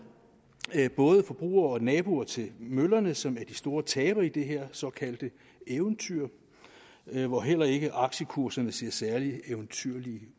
både forbrugerne og naboerne til møllerne som er de store tabere i det her såkaldte eventyr hvor heller ikke aktiekurserne ser særlig eventyrlige